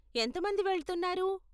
ఎంత మంది వెళ్తున్నారు?